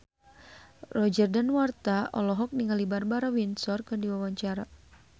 Roger Danuarta olohok ningali Barbara Windsor keur diwawancara